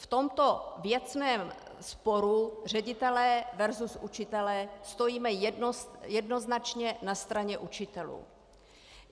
V tomto věcném sporu ředitelé versus učitelé stojíme jednoznačně na straně učitelů.